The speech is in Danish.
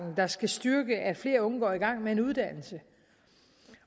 der skal styrke at flere unge går i gang med en uddannelse